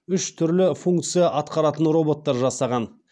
үш түрлі функция атқаратын роботтар жасаған